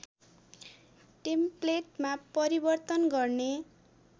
टेम्पलेटमा परिवर्तन गर्ने